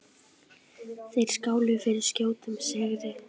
Þeir skáluðu fyrir skjótum sigri.